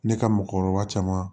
Ne ka mɔgɔkɔrɔba caman